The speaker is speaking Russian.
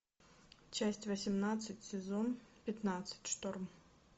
часть восемнадцать сезон пятнадцать шторм